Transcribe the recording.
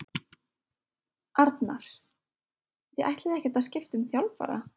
Arnar: Þið ætlið ekkert að skipta um þjálfara?